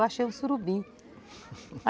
Eu achei o surubim.